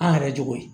An yɛrɛ jogo ye